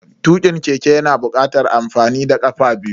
Tukin keke yana bukatar amfani da kafa biyu.